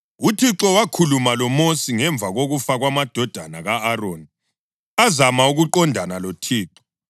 UThixo wakhuluma loMosi ngemva kokufa kwamadodana ka-Aroni azama ukuqondana loThixo.